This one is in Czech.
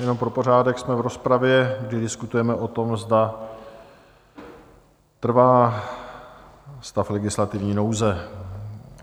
Jenom pro pořádek, jsme v rozpravě, kdy diskutujeme o tom, zda trvá stav legislativní nouze.